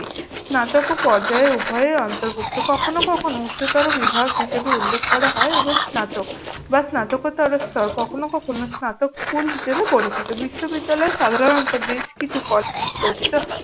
স্নাতক ও পর্যায়ে উভয়ে অন্তর্ভুক্ত। কখনো কখনো উচ্চতর বিভাগ হিসেবে উল্লেখ করা হয় এবং বা স্নাতকতরস্তর কখনো কখনো স্নাতক স্কুল হিসেবে পরিচিত। বিশ্ববিদ্যালয় সাধারণত বেশ কিছু কর পঠিত হয়।